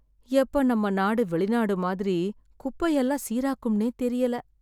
எப்ப நம்ம நாடு வெளிநாடு மாதிரி குப்பை எல்லாம் சீராக்கும்னே தெரியல.